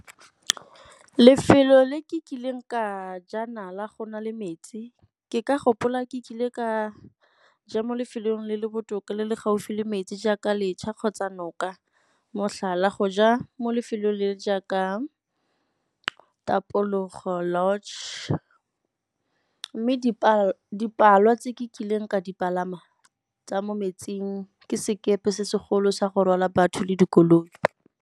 Lefelo le kileng ka ja nala go na le metsi, ke ka gopola ke kile ka ja mo lefelong le le botoka le le gaufi le metsi jaaka letšha kgotsa noka. Motlhala, go ja mo lefelong le jaaka Tapologo Lodge, mme tse ke kileng ka di palama tsa mo metsing ke sekepe se se golo sa go rwala batho le dikoloi.